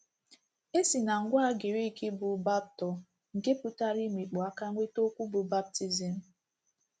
E si na ngwaa Grik bụ́ baʹpto, nke pụtara 'imikpu aka' nweta okwu bụ́ “ baptizim .”